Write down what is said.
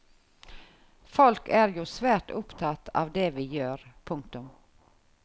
Folk er jo svært opptatt av det vi gjør. punktum